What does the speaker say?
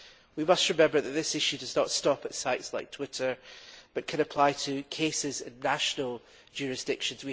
We must remember that this issue does not stop at sites like Twitter, but can apply in cases of national jurisdiction.